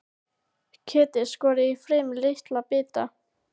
Kjötið skorið í fremur litla bita.